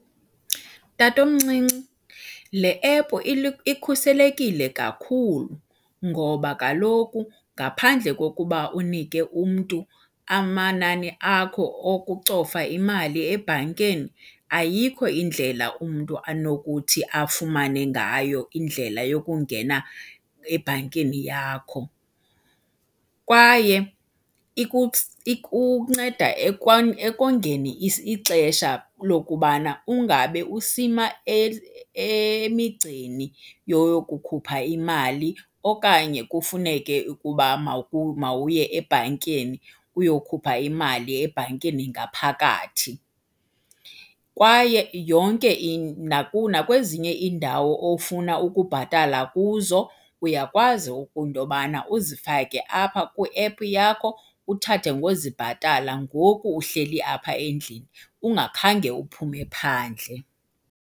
Tatomncinci, le app ikhuselekile kakhulu ngoba kaloku ngaphandle kokuba unike umntu amanani akho okucofa imali ebhankeni, ayikho indlela umntu anokuthi afumane ngayo indlela yokungena ebhankini yakho. Kwaye ikunceda ekongeni ixesha lokubana ungabe usima emigceni yoyokukhupha imali okanye kufuneke ukuba mawuye ebhankeni uyokhupha imali ebhankeni ngaphakathi. Kwaye yonke nakwezinye iindawo ofuna ukubhatala kuzo, uyakwazi into yobana uzifake apha kwiephu yakho uthathe ngozibhatala ngoku uhleli apha endlini ungakhange uphume phandle.